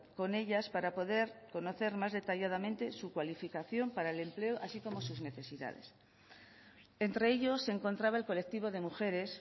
con ellas para poder conocer más detalladamente su cualificación para el empleo así como sus necesidades entre ellos se encontraba el colectivo de mujeres